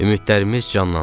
Ümidlərimiz canlandı.